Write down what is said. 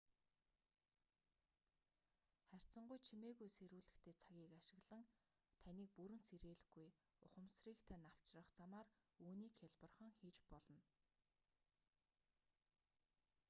харьцангуй чимээгүй сэрүүлэгтэй цагийг ашиглан таныг бүрэн сэрээлгүй ухамсрыг тань авчрах замаар үүнийг хялбархан хийж болно